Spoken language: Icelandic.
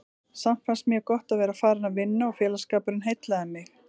Samt fannst mér gott að vera farin að vinna og félagsskapurinn heillaði mig.